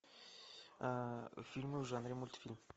а фильмы в жанре мультфильм